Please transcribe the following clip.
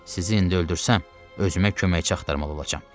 Sizi indi öldürsəm, özümə köməkçi axtarmalı olacağam.